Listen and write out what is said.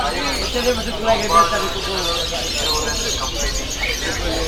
ICC Lombard General Insurance Company limited